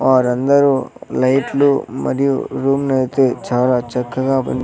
వారందరూ లైట్లు మరియు రూమ్నయితే చాలా చక్కగా బని--